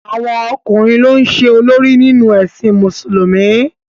Àwọn ọkùnrin ló ń ṣe olórí nínú ẹ̀sìn Mùsùlùmí